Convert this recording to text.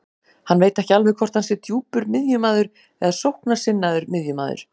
Hann veit ekki alveg hvort hann sé djúpur miðjumaður eða sóknarsinnaður miðjumaður.